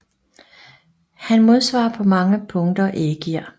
Han modsvarer på mange punkter Ægir